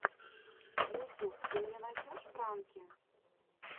ютюб ты мне найдешь пранки